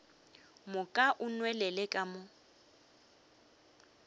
moka o nwelele ka mo